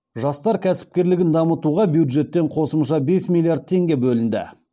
жастар кәсіпкерлігін дамытуға бюджеттен қосымша бес миллиард теңге бөлінді